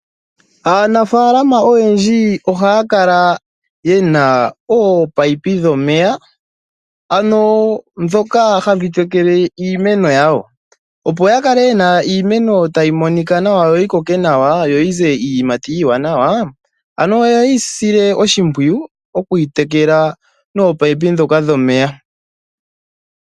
Aanafaalama oyendji ohaya kala ye na ominino dhomeya, ndhoka hadhi tekele iimeno yawo, opo ya kale ye na iimeno tayi monika nawa yo yi koke nawa, yo yi ze iiyimati iiwanawa, oye yi sile oshimpwiyu okuyi tekela nominino ndhoka dhomeya.